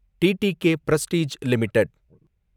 TTK Prestige limited